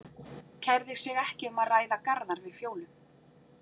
Kærði sig ekki um að ræða Garðar við Fjólu.